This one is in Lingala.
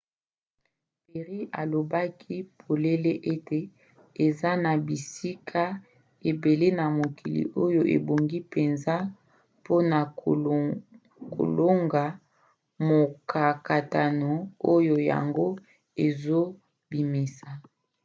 perry alobaki polele ete eza na bisika ebele na mokili oyo ebongi mpenza mpona kolonga mokakatano oyo yango ezobimisa.